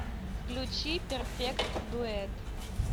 включи перфект дуэт